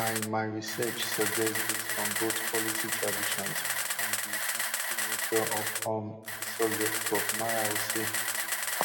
my my research suggest dis from both policy traditions and di sensitive nature of um di subject prof miao say